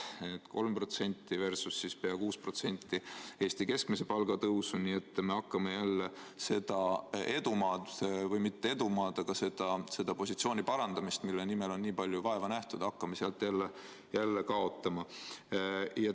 3% versus pea 6% Eesti keskmise palga tõusu, nii et me hakkame jälle seda edumaad, või mitte edumaad, vaid seda positsiooni parandamist, mille nimel on nii palju vaeva nähtud, jälle kaotama.